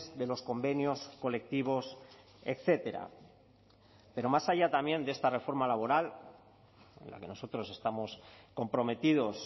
de los convenios colectivos etcétera pero más allá también de esta reforma laboral la que nosotros estamos comprometidos